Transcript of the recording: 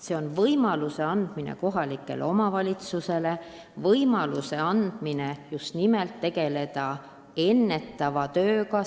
Seega me anname viiele kohalikule omavalitsusele võimaluse tegeleda just nimelt ennetava tööga.